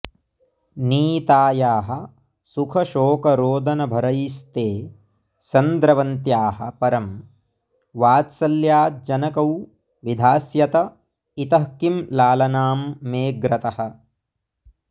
नीतायाः सुखशोकरोदनभरैस्ते सन्द्रवन्त्याः परं वात्सल्याज्जनकौ विधास्यत इतः किं लालनां मेऽग्रतः